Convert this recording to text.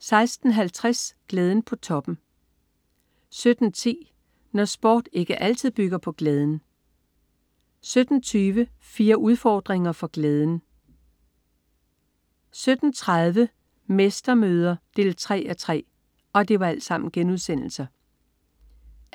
16.50 Glæden på toppen* 17.10 Når sport ikke altid bygger på glæden* 17.20 Fire udfordringer for glæden* 17.30 Mestermøder 3:3*